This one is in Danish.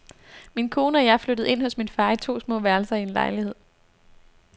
Min kone og jeg flyttede ind hos min far i to små værelser i en lejlighed.